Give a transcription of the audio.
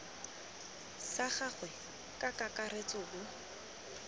sa gagwe ka kakaretso bo